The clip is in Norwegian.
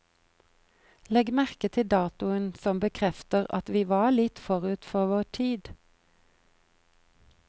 Legg merke til datoen som bekrefter at vi var litt forut for vår tid.